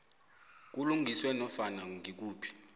kulungiswe nofana ngikuphi